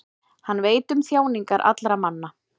hann veit um þjáningar allra manna